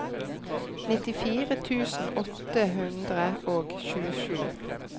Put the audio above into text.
nittifire tusen åtte hundre og tjuesju